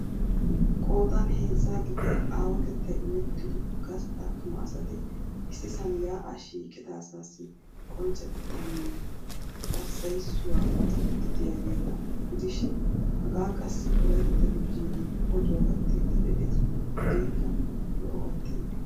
Qoodan heezzaa gidiya aawatettay imettido gastta attuma asat issisaan ya'aa shiiqqida asas qonccettaanne hasayissuwaa odiid diyageeta gidishiin hagaa qassi Wolaytta televizhzhinee oduwaa gattiidi dees. Hageekka lo'obbatteenne.